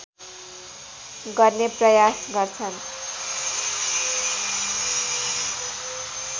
गर्ने प्रयास गर्छन्